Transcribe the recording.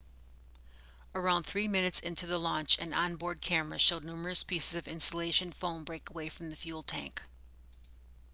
around 3 minutes into the launch an on-board camera showed numerous pieces of insulation foam break away from the fuel tank